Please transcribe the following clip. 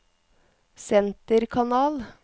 senterkanal